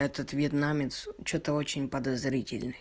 этот вьетнамец что-то очень подозрительный